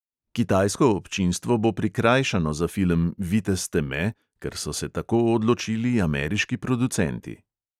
Kitajsko občinstvo bo prikrajšano za film vitez teme, ker so se tako odločili ameriški producenti.